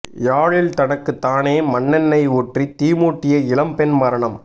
யாழில் தனக்கு தானே மண்ணெண்னை ஊற்றி தீ மூட்டிய இளம் பெண் மரணம்